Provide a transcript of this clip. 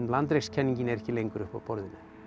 en landrekskenningin er ekki lengur uppi á borðinu